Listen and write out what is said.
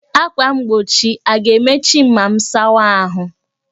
Ákwà mgbochi a ga-emechi m ma m sawa ahụ?